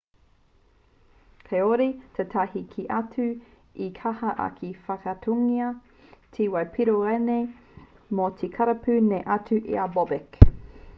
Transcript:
kāore tētahi kē atu i kaha ake te whakaaatungia te whai piro rānei mō te karapu nei atu i a bobek